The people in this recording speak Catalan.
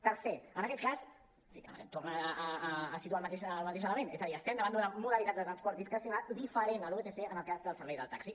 tercer en aquest cas torna a situar el mateix element és a dir estem davant d’una modalitat de transport discrecional diferent el vtc del cas del servei del taxi